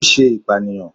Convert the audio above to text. O ṣe ipaniyan